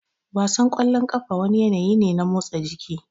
Wasan kwallon kafa wani yanayi ne na motsa jiki